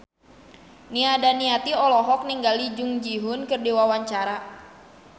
Nia Daniati olohok ningali Jung Ji Hoon keur diwawancara